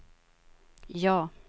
ja